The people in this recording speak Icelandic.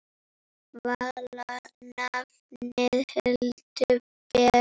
Vala nafnið Hildur ber.